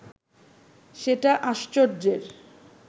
সেটা আশ্চর্যের